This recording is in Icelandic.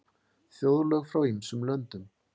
Þjóðlög frá ýmsum löndum.